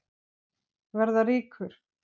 Verða ríkur.